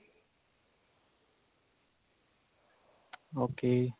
okay